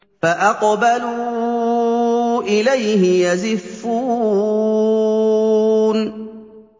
فَأَقْبَلُوا إِلَيْهِ يَزِفُّونَ